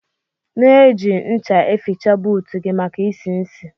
Na eji ncha eficha buut gi maka isi-isi